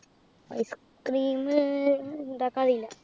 Ice cream ഇണ്ടാക്കാനറീല്ല